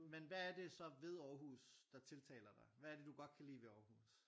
Men hvad er det så ved Aarhus der tiltaler dig hvad er det du godt kan lide ved Aarhus?